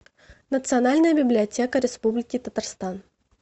национальная библиотека республики татарстан